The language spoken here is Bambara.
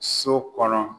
So kɔnɔ